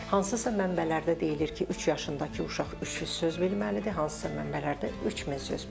Hansısa mənbələrdə deyilir ki, üç yaşındakı uşaq 300 söz bilməlidir, hansısa mənbələrdə 3000 söz.